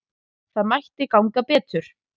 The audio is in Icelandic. Það mætti ganga betur.